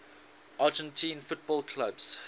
argentine football clubs